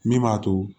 Min b'a to